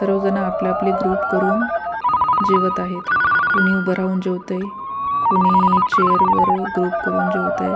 सगळेजण आपापले ग्रुप करून जेवत आहेत कुणी उभे राहून जेवतंय कुणी चेअर वर ग्रुप करून जेवतंय.